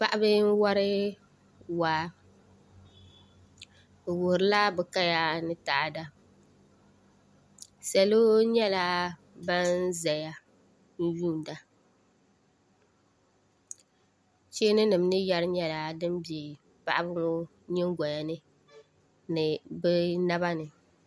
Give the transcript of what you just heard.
Paɣaba n wori waa bi wuhurila bi kaya ni taada salo nyɛla ban ʒɛya n yuunda cheeni nim ni yɛri nyɛla din bɛ paɣaba ŋɔ nyingoya ni ni bi naba ni